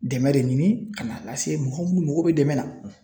Dɛmɛn de ɲini ka n'a lase mɔgɔ mun mago bɛ dɛmɛn na.